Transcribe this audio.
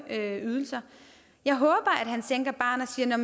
ydelser jeg håber at han sænker barren og siger